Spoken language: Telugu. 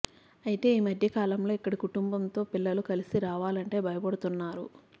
అయితే ఈ మధ్య కాలం లో ఇక్కడికి కుటుంబం తో పిల్లలతో కలిసి రావాలంటే భయపడుతున్నారు